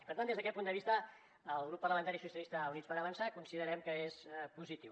per tant des d’aquest punt de vista el grup parlamentari socialistes i units per avançar considerem que és positiu